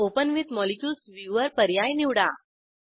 open with molecules viewer पर्याय निवडा